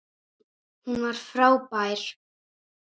Hún var frábær.